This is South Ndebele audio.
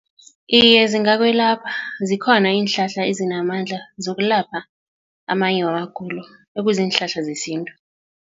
Iye, zingakwelapha zikhona iinhlahla ezinamandla zokulapha amanye wamagulo ekuziinhlahla zesintu.